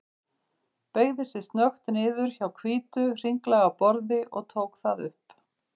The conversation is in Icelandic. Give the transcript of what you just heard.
Beygði sig snöggt niður hjá hvítu, hringlaga borði og tók það upp.